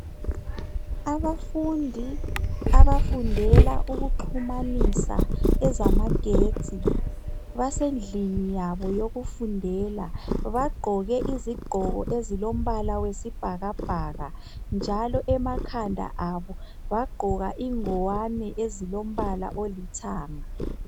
Abafundi abafundela ukuxhumanisa ezamagetsi basendlini yabo yokufundela bagqoke izigqoko ezilombala wesibhakabhaka njalo emakhanda abo bagqoka ingwane ezilombala olithanga.